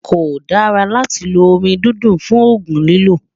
kò dá látí ló omí dúndún fún ògún lílò